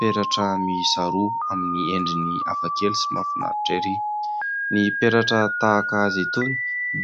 Peratra miisa roa amin'ny endriny hafakely sy mahafinaritra ery. Ny peratra tahaka azy itony